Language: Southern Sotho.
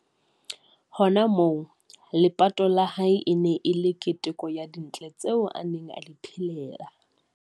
Hona moo, lepato la hae e ne e le keteko ya dintle tseo a neng a di phelela.